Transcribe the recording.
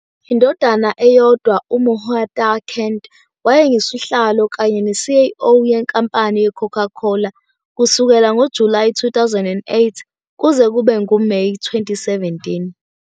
Indodana eyodwa, uMuhtar Kent, wayengusihlalo kanye ne-CEO yeNkampani yeCoca-Cola kusukela ngoJulayi 2008 kuze kube nguMeyi 2017.